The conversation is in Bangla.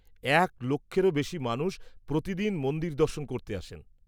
-এক লক্ষেরও বেশি মানুষ প্রতিদিন মন্দির দর্শন করতে আসেন।